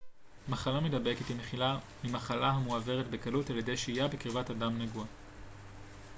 מחלה מדבקת היא מחלה המועברת בקלות על ידי שהייה בקרבת אדם נגוע